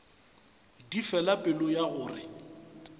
di fela pelo ya gore